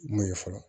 Mun ye fɔlɔ